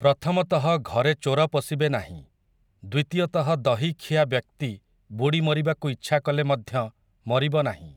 ପ୍ରଥମତଃ ଘରେ ଚୋର ପଶିବେ ନାହିଁ, ଦ୍ୱିତୀୟତଃ ଦହିଖିଆ ବ୍ୟକ୍ତି ବୁଡ଼ି ମରିବାକୁ ଇଚ୍ଛା କଲେ ମଧ୍ୟ, ମରିବ ନାହିଁ ।